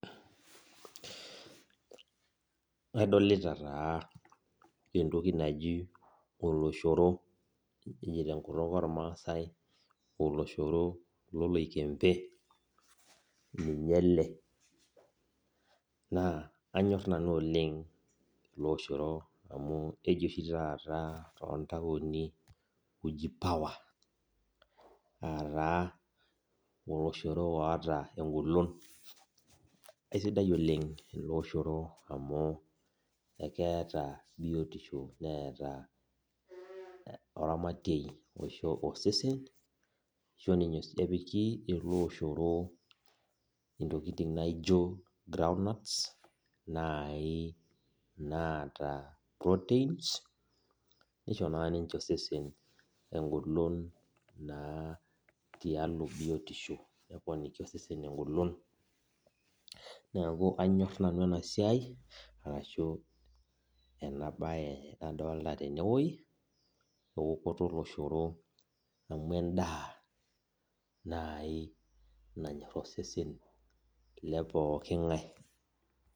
Adolita taa entoki naji oloshoro keji tenkutuk ormasaasai oloshoro loloikembe ninye ele na kanyor nanu Oleng amu keji oshi taata tontauni uji power nataa oloshoro oota aisidai oleng amu keeta biotisho oramatie oisho osesen arashubepiki eleoshoro ntokitin naijo groundnuts nata proteins nisho na ninche sosen biotisho tialo osesen engolon neakuvanyor nanu enasiai enabae nadolta tenewueji eokoto oloshoro amu endaa nai nanyor osesen lepooki ngae